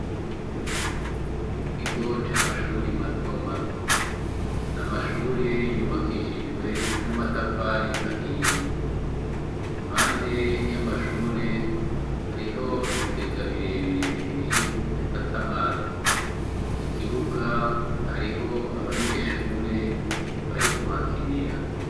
Mu kigo c'amashuri mato mato, amashuri yubakishijwe n'amatafari ahiye, impande y'amashure hariho ibigagabirebire bibiri bifata amazi, mu kibuga hariho abanyeshure barikuhakinira.